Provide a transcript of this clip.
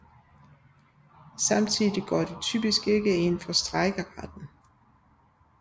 Samtidig går de typisk ikke ind for strejkeretten